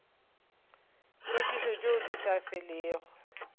tlhwekišo tšeo di sa felego